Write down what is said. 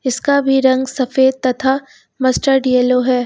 इसका भी रंग सफेद तथा मस्टर्ड येलो है।